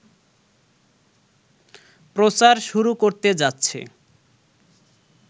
প্রচার শুরু করতে যাচ্ছে